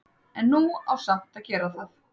En nú á samt að gera það.